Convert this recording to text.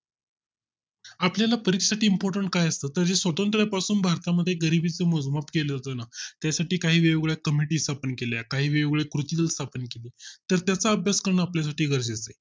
आपल्या ला परीक्षात Import काय असतो तर त्या स्वतंत्र पासून भारता मध्ये गरिबी चे मोजमाप केले होतो ना त्यासाठी काही वेळा committee स्थापन केल्या काही वेगवेगळ्या कुत्या स्थापन केली तर त्याचा अभ्यास करून आपल्या साठी गरजेचे आहे